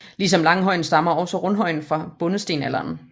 Ligesom langhøjen stammer også rundhøjen fra bondestenalderen